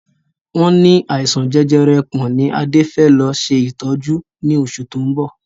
Wọn ní àìsàn jẹjẹrẹ ẹpọ̀n ni Adé fẹ lọ ṣètọ́jú ni oṣù to ń bọ̀